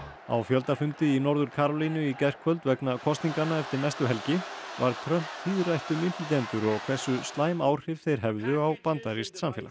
á fjöldafundi í Norður Karólínu í gærkvöld vegna kosninganna eftir næstu helgi varð Trump tíðrætt um innflytjendur og hversu slæm áhrif þeir hefðu á bandarískt samfélag